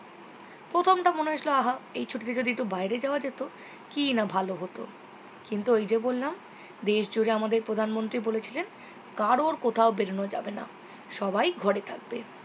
প্রথমটা মনে হয়েছিল আবার এই ছুটিতে যদি একটু বাইরে যাওয়া যেত কিনা ভালো হতো কিন্তু ওইযে বললাম দেশ জুড়ে আমাদের প্রধানমন্ত্রী বলেছিলেন কারও কোথাও বেরোনো যাবে না সবাই ঘরে থাকবে